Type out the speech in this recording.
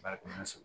Bari so